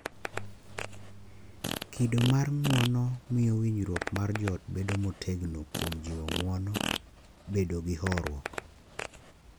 Kido mar ng’uono miyo winjruok mar joot bedo motegno kuom jiwo ng’uono, bedo gi horuok,